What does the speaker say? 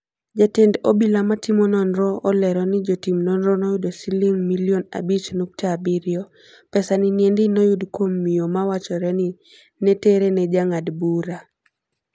Jatend obila ma timo nonro olero ni jotim nonro noyudo siling milion abich nukta abirio. Pesa niendi noyud kuom mio ma wachore ni netere ne jangad bura.